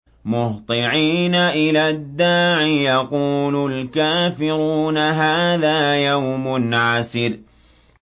مُّهْطِعِينَ إِلَى الدَّاعِ ۖ يَقُولُ الْكَافِرُونَ هَٰذَا يَوْمٌ عَسِرٌ